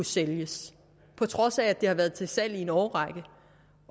sælges på trods af at de har været til salg i en årrække